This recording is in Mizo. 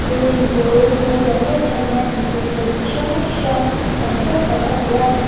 building pawl mawi lian em em hianin tukverh chi hrang hrang tam tawk tak a nei a.